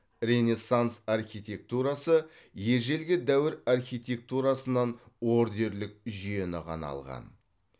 ренессанс архитектурасы ежелгі дәуір архитектурасынан ордерлік жүйені ғана алған